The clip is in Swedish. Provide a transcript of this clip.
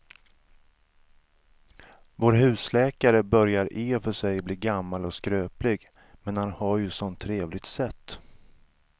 Vår husläkare börjar i och för sig bli gammal och skröplig, men han har ju ett sådant trevligt sätt!